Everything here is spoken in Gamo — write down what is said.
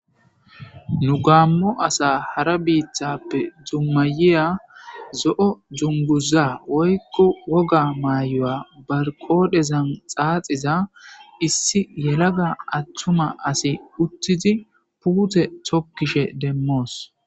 nu gaammo asa hara biiththappe dummayiya zo7o junguza woykko woga mayyoya barqodhezan xaaxiza issi yelaga attuma asi uttidi puute thokkishe demmoos